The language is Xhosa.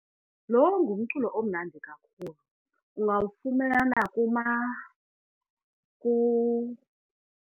Lo ngumculo omnandi kakhulu ungawufumana .